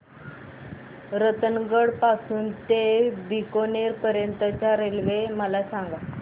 रतनगड पासून ते बीकानेर पर्यंत च्या रेल्वे मला सांगा